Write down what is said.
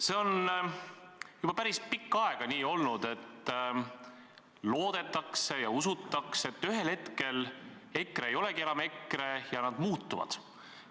See on juba päris pikka aega nii olnud, et loodetakse ja usutakse, et ühel hetkel EKRE ei olegi enam EKRE, nad muutuvad.